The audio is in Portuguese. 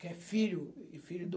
Que é filho e filho do